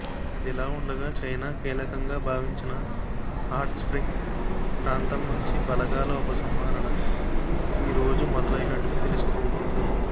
ఇదిలా ఉండగా చైనా కీలకంగా భావించిన హాట్స్ర్పింగ్ ప్రాంతం నుంచి బలగాల ఉపసంహరణ ఈ రోజు మొదలైనట్లు తెలుస్తోంది